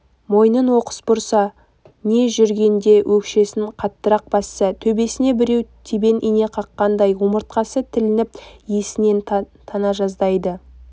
мойнын оқыс бұрса не жүргенде өкшесін қаттырақ басса төбесіне біреу тебен ине қаққандай омыртқасы тілініп есінен тана жаздайды